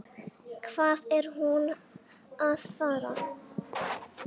Hvað er hún að fara?